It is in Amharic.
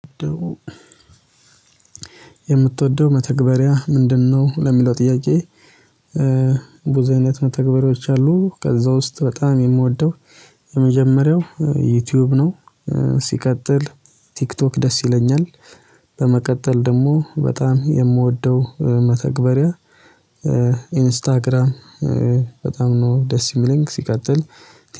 የምትወደው መተግበሪያ ምንድነው? ለሚለው ጥያቄ ብዙ አይነት መተግበሪያዎች አሉ። ከዛ ውስጥ በጣም የምወደው የመጀመሪያው ዩቲዩብ ነው። ሲቀጥል ቲክቶክ ደስ ይለኛል። በመቀጠል ደግሞ በጣም የምወደው መተግበሪያ ኢንስታግራም በጣም ነው ደስ የሚለኝ። ሲቀጥል